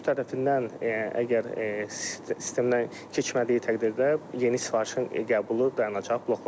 Sürücü tərəfindən əgər sistemdən keçmədiyi təqdirdə yeni sifarişin qəbulu dayanacaq, bloklanacaq.